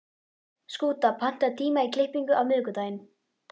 Skúta, pantaðu tíma í klippingu á miðvikudaginn.